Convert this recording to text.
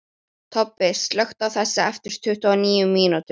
Tobbi, slökktu á þessu eftir tuttugu og níu mínútur.